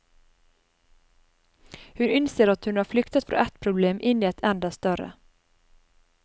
Hun innser at hun har flyktet fra ett problem inn i et enda større.